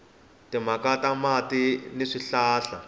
timhaka ta mati ni swihlahla